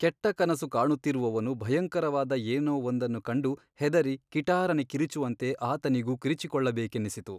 ಕೆಟ್ಟ ಕನಸು ಕಾಣುತ್ತಿರುವವನು ಭಯಂಕರವಾದ ಏನೋ ಒಂದನ್ನು ಕಂಡು ಹೆದರಿ ಕಿಟಾರನೆ ಕಿರಿಚುವಂತೆ ಆತನಿಗೂ ಕಿರಿಚಿಕೊಳ್ಳಬೇಕೆನ್ನಿಸಿತು.